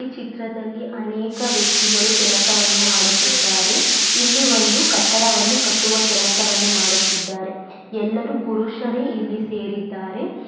ಈ ಚಿತ್ರದಲ್ಲಿ ಅನೇಕ ವ್ಯಕ್ತಿಗಳು ಕೆಲಸವನ್ನು ಮಾಡುತ್ತಿದ್ದಾರೆ.